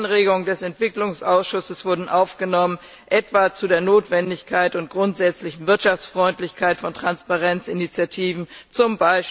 Viele Anregungen des Entwicklungsausschusses wurden aufgenommen, etwa zu der Notwendigkeit und grundsätzlichen Wirtschaftsfreundlichkeit von Transparenzinitiativen, z.